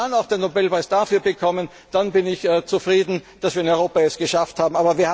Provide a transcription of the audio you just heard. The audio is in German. Wenn wir dann noch den Nobelpreis dafür bekommen, dann bin ich zufrieden, dass wir es in Europa geschafft